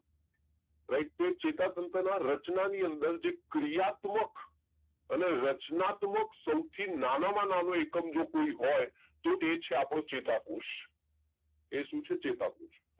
right તો એ ચેતાતંત્રના રચનાની અંદર ક્રિયાત્મક અને રચનાત્મક સૌથી નાનામાં નાનો એકમ કોઈ હોય તો એ છે આપણો ચેતાકોષ એ શું છે ચેતાકોષ